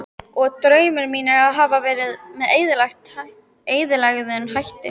Og draumar mínir hafa verið með eðlilegum hætti.